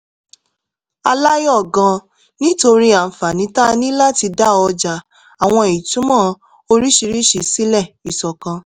a láyọ̀ gan-an nítorí àǹfààní tá a ní láti dá ọjà àwọn ìtumọ̀ oríṣiríṣi sílẹ̀ ìṣọ̀kan